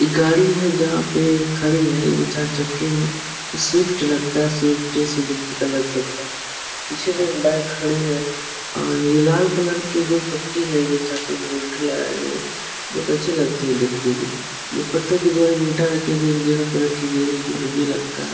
एक गाड़ी है जहाँ पे खड़ी है। ये चार चक्के हैं। ये स्वीफ्ट लगता है स्वीफ्ट सुजुकी का लग सकता है। पीछे भी एक बाईक खड़ी है और ये लाल कलर की जो पट्टी है बहुत अच्छी लगती है देखने में। ये पत्थर के द्वारा गयी है जो एक जगह पर रखी गयी है जो हैवी लगता है।